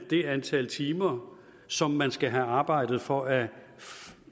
det antal timer som man skal have arbejdet for at